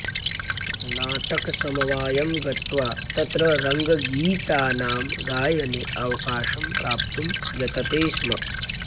नाटकसमवायं गत्वा तत्र रङ्गगीतानां गायने अवकाशं प्राप्तुं यतते स्म